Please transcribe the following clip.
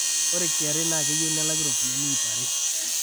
ore kra naa keyieu nelaki ropiyian iip are